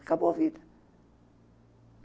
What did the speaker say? Acabou a vida.